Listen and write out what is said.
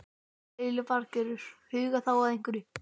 Lillý Valgerður: Huga þá að hverju?